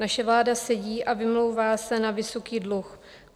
Naše vláda sedí a vymlouvá se na vysoký dluh.